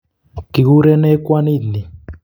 kikurenee kwanit ni?